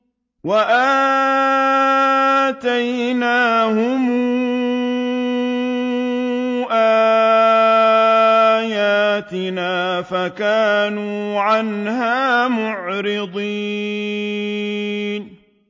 وَآتَيْنَاهُمْ آيَاتِنَا فَكَانُوا عَنْهَا مُعْرِضِينَ